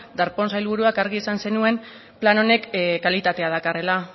darpón sailburuak argi esan zenuen plan honek kalitatea dakarrela